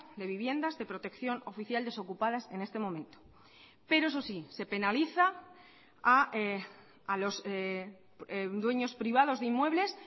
de viviendas de protección oficial desocupadas en este momento pero eso sí se penaliza a los dueños privados de inmuebles